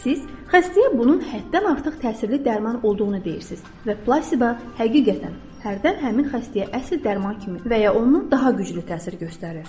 Siz xəstəyə bunun həddən artıq təsirli dərman olduğunu deyirsiz və plasiba həqiqətən hərdən həmin xəstəyə əsl dərman kimi və ya ondan daha güclü təsir göstərir.